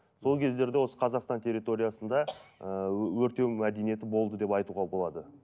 сол кездерде осы қазақстан терриориясында ыыы өртеу мәдениеті болды деп айтуға болады